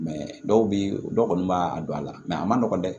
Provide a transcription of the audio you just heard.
dɔw bɛ yen dɔw kɔni b'a a don a la a man nɔgɔn dɛ